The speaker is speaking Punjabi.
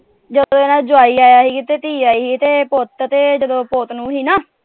ਜਦੋਂ ਇਹਨਾਂ ਦਾ ਜਵਾਈ ਆਇਆ ਸੀ ਤੇ ਧੀ ਆਇਆ ਸੀ ਤੇ ਪੁੱਤ ਤੇ ਜਦੋਂ ਪੁੱਤ ਨੂੰਹ ਸੀ ਨਾ।